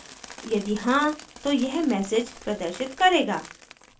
यदि हाँ तो यह message प्रदर्शित करेगा